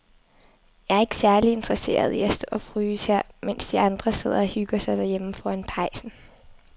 Jeg er ikke særlig interesseret i at stå og fryse her, mens de andre sidder og hygger sig derhjemme foran pejsen.